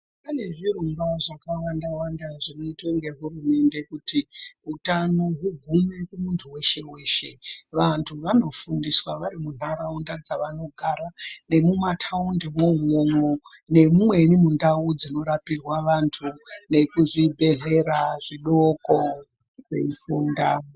Pane zvirongwa zvakawanda wanda zvinoitwa ngehurumende kuti utano ugume mumuntu weshe vantu vanofundisa vari mumandaraunda dzavanogara nenumataundi mwomwo nemumweni mundau dzinorapirwa vantu nekuzvibhedhlera zvidoko veifunda.